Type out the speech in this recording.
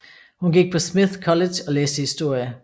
Hun gik på Smith College og læste historie